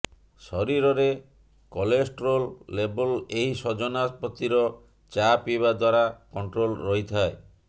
ଶରୀରରେ କଲୋଷ୍ଟ୍ରୋଲ ଲେବୁଲ ଏହି ସଜନା ପତିର ଚା ପିଇବା ଦ୍ବାରା କଣ୍ଟ୍ରୋଲ ରହିଥାଏ